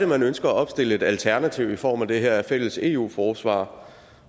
man ønsker at opstille et alternativ i form af det her fælles eu forsvar